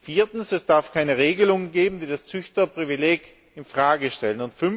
Viertens Es darf keine Regelung geben, die das Züchterprivileg in Frage stellt.